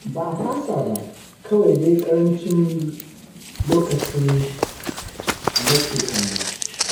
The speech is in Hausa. Ba a fasa ba, kawai dai ƙarancin lokacin nake kallo.